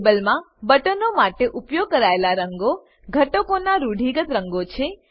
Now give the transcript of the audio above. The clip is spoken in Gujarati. ટેબલમાં બટનો માટે ઉપયોગ કરાયેલા રંગો ઘટકોનાં રૂઢિગત રંગો છે